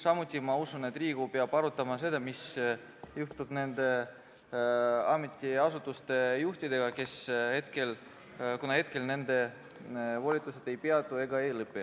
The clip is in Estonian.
Samuti usun ma, et Riigikogu peab arutama seda, mis juhtub nende ametiasutuste juhtidega, kuna praegu nende volitused ei peatu ega lõpe.